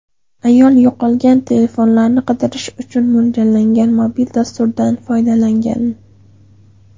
Ayol yo‘qolgan telefonlarni qidirish uchun mo‘ljallangan mobil dasturdan foydalangan.